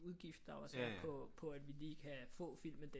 Udgift der også er på at vi lige kan få filmen den